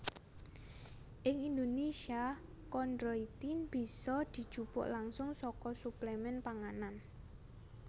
Ing Indonesia kondroitin bisa dijupuk langsung saka suplemen panganan